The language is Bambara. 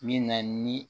Min na ni